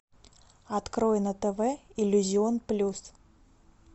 открой на тв иллюзион плюс